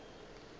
gore go na le se